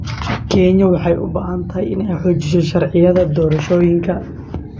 Kenya waxay u baahan tahay inay xoojiso sharciyada doorashooyinka.